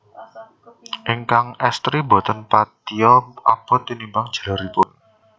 Ingkang estri boten patia abot tinimbang jaleripun